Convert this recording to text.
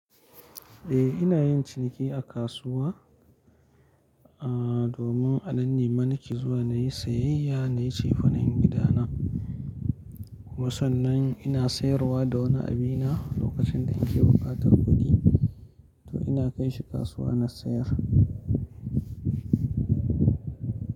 Eh ina yin ciniki a kasuwa, ah domin a nan ne mana ke zuwa na yi sayayya, na yi cefanen gida na. Kuma sannan ina sayarwa da wani abina lokacin da nike buƙatar kuɗi, to ina kai shi kasuwa na sayar.